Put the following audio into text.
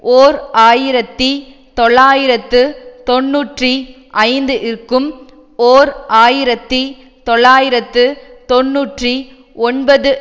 ஓர் ஆயிரத்தி தொள்ளாயிரத்து தொன்னூற்றி ஐந்து இற்கும் ஓர் ஆயிரத்தி தொள்ளாயிரத்து தொன்னூற்றி ஒன்பது